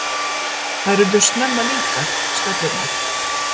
Þær urðu snemma líkar, stöllurnar.